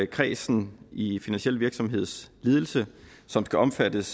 kredsen i finansiel virksomhedsledelse som skal omfattes